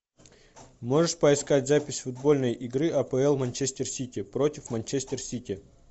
можешь поискать запись футбольной игры апл манчестер сити против манчестер сити